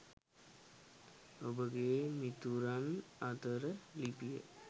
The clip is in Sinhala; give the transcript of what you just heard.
ඔබගේ මිතුරන් අතරේ ලිපිය